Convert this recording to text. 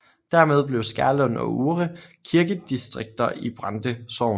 Dermed blev Skærlund og Uhre kirkedistrikter i Brande Sogn